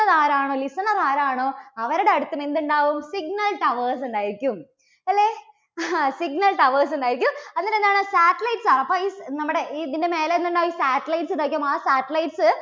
ത് ആരാണോ listener ആരാണോ അവരുടെ അടുത്തും എന്തുണ്ടാകും? signal towers ഉണ്ടായിരിക്കും അല്ലേ? ങ്ഹാ signal towers ഉണ്ടായിരിക്കും എന്നിട്ട് എന്താണ് satellites ആണ് അപ്പോ ഈ നമ്മുടെ ഇതിൻറെ മേലെ നിന്നുള്ള satellite ഉണ്ടായിരിക്കും ആ satellites